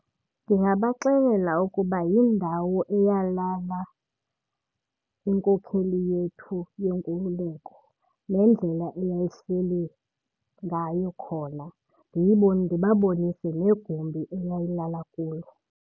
Ndingabaxelela ukuba yindawo eyalala inkokheli yethu yenkululeko nendlela eyayihleli ngayo khona, ndibabonise negumbi eyayilala kulo.